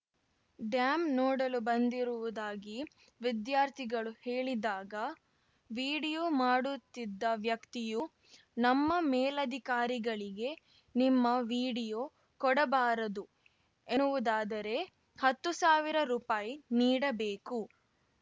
dam ನೋಡಲು ಬಂದಿರುವುದಾಗಿ ವಿದ್ಯಾರ್ಥಿಗಳು ಹೇಳಿದಾಗ ವೀಡಿಯೋ ಮಾಡುತ್ತಿದ್ದ ವ್ಯಕ್ತಿಯು ನಮ್ಮ ಮೇಲಾಧಿಕಾರಿಗಳಿಗೆ ನಿಮ್ಮ ವೀಡಿಯೋ ಕೊಡಬಾರದು ಎನ್ನುವುದಾದರೆ ಹತ್ತು ಸಾವಿರ ರೂಪಾಯಿ ನೀಡಬೇಕು